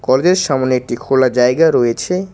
College -এর সামনে একটি খোলা জায়গা রয়েছে।